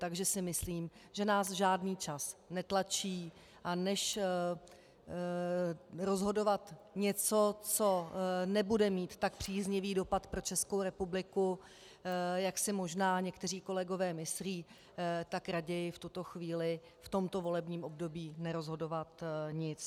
Takže si myslím, že nás žádný čas netlačí, a než rozhodovat něco, co nebude mít tak příznivý dopad pro Českou republiku, jak si možná někteří kolegové myslí, tak raději v tuto chvíli v tomto volebním období nerozhodovat nic.